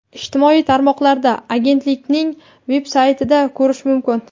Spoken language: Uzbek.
ijtimoiy tarmoqlarda va agentlikning veb-saytida ko‘rish mumkin.